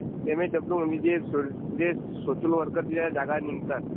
जे एमएसडब्ल्यू म्हणजे जे जे सोशल वर्करच्या जागा निघतात...